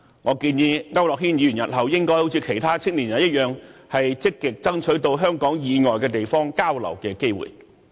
我建議區諾軒議員日後應好像其他青年人般，積極爭取到香港以外地方交流的機會。